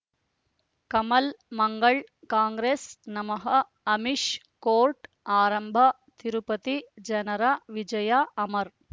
ಕಮಲ್ ಮಂಗಳ್ ಕಾಂಗ್ರೆಸ್ ನಮಃ ಅಮಿಷ್ ಕೋರ್ಟ್ ಆರಂಭ ತಿರುಪತಿ ಜನರ ವಿಜಯ ಅಮರ್